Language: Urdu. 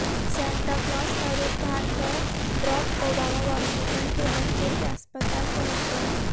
سانتا کلاز کا روپ دھار کر براک اوباما واشنگٹن کے بچوں کے اسپتال پہنچ گئے